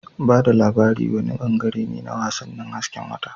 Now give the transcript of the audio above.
Ba da labari wani bangare ne na wasannin hasken wata.